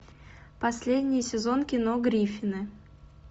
последний сезон кино гриффины